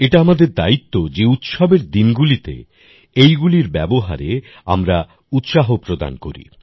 এটা আমাদের দায়িত্ব যে উৎসবের দিনগুলিতে এইগুলির ব্যবহারে আমরা উৎসাহ প্রদান করি